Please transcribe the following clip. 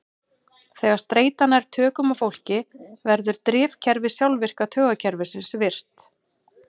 Þegar streita nær tökum á fólki verður drifkerfi sjálfvirka taugakerfisins virkt.